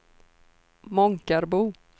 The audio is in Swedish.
Månkarbo